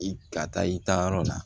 I ka taa i taa yɔrɔ la